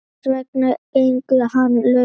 Hvers vegna gengur hann laus?